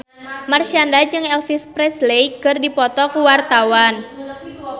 Marshanda jeung Elvis Presley keur dipoto ku wartawan